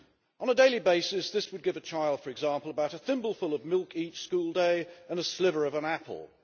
On a daily basis, this would give a child, for example, about a thimble full of milk each school day and a sliver of an apple.